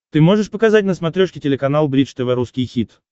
ты можешь показать на смотрешке телеканал бридж тв русский хит